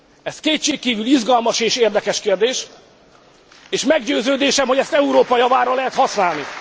Ez kétségkívül izgalmas és érdekes kérdés, és meggyőződésem, hogy ezt Európa javára lehet használni.